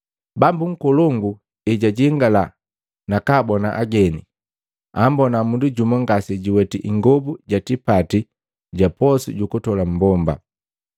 “Bambu nkolongu ejajingala nakabona ageni, ambona mundu jumu, ngase juweti ingobu ya tipati ga posu ju kutola mmbomba.